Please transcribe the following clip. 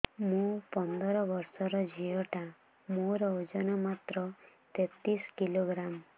ମୁ ପନ୍ଦର ବର୍ଷ ର ଝିଅ ଟା ମୋର ଓଜନ ମାତ୍ର ତେତିଶ କିଲୋଗ୍ରାମ